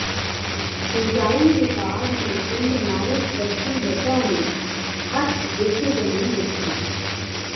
ਸਿੰਜਾਈ ਵਿਭਾਗ ਨੇ ਪਿੰਡ ਨਾਇਕ ਬਸਤੀ ਲੱਡਾ ਨੂੰ ਅੱਠ ਵਿੱਘੇ ਜ਼ਮੀਨ ਦਿੱਤੀ